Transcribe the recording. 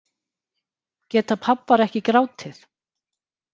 Geta pabbar ekki grátið